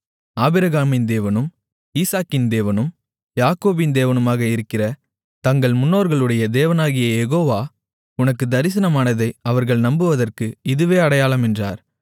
ஆபிரகாமின் தேவனும் ஈசாக்கின் தேவனும் யாக்கோபின் தேவனுமாக இருக்கிற தங்கள் முன்னோர்களுடைய தேவனாகிய யெகோவா உனக்கு தரிசனமானதை அவர்கள் நம்புவதற்கு இதுவே அடையாளம் என்றார்